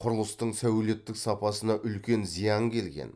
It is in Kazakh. құрылыстың сәулеттік сапасына үлкен зиян келген